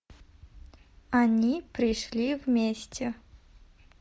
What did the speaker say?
они пришли вместе